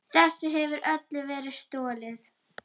Þessu hefur öllu verið stolið!